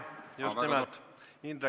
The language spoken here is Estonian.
Just nimelt!